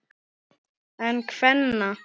En kvenna?